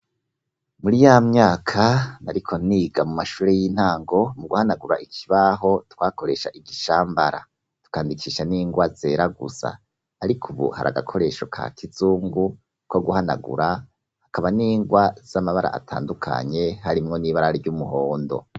Muri ya myaka nariko niga mu mashuri y'intango mu guhanagura ikibaho twakoresha igishambara tukandikisha n'ingwa zera gusa ariko ubu har'agakoresho ka kizungu ko guhanagura hakaba n'ingwa z'amabara atandukanye harimwo n'ibara ry'umuhondo.